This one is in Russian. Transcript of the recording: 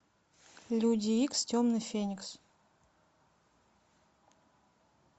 люди икс темный феникс